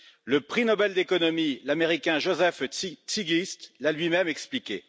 Le prix Nobel d'économie, l'Américain Joseph Stiglitz, l'a lui même expliqué.